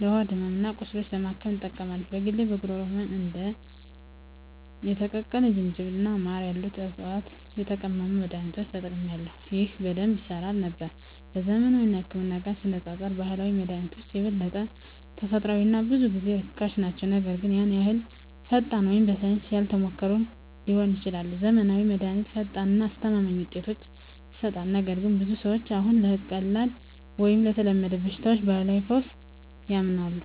ለሆድ ሕመም እና ቁስሎች ለማከም ይጠቀማሉ። በግሌ ለጉሮሮ ህመም እንደ የተቀቀለ ዝንጅብል እና ማር ያሉትን ከዕፅዋት የተቀመሙ መድኃኒቶችን ተጠቅሜአለሁ፣ ይህም በደንብ ይሠራ ነበር። ከዘመናዊው ህክምና ጋር ሲነፃፀሩ ባህላዊ መድሃኒቶች የበለጠ ተፈጥሯዊ እና ብዙ ጊዜ ርካሽ ናቸው, ነገር ግን ያን ያህል ፈጣን ወይም በሳይንስ ያልተሞከሩ ሊሆኑ ይችላሉ. ዘመናዊው መድሃኒት ፈጣን እና አስተማማኝ ውጤቶችን ይሰጣል, ነገር ግን ብዙ ሰዎች አሁንም ለቀላል ወይም ለተለመዱ በሽታዎች ባህላዊ ፈውስ ያምናሉ.